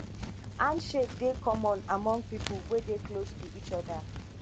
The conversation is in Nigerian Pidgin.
handshake dey common among pipo wey dey close to each oda